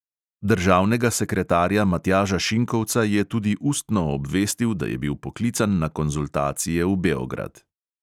Državnega sekretarja matjaža šinkovca je tudi ustno obvestil, da je bil poklican na konzultacije v beograd.